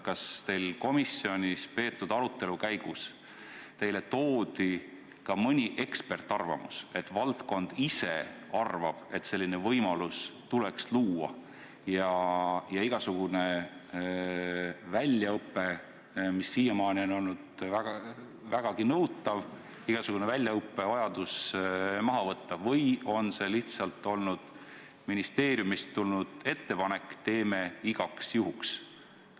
Kas komisjonis peetud arutelu käigus toodi teile ka mõni eksperdiarvamus, mille kohaselt valdkond ise arvab, et selline võimalus tuleks luua ja et igasugust väljaõpet, mis siiamaani on olnud vägagi nõutav, võiks vähendada, või on see lihtsalt ministeeriumist tulnud ettepanek, et teeme igaks juhuks ära?